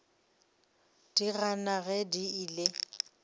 di gana ge di ile